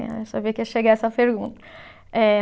Eu sabia que ia chegar essa pergunta. Eh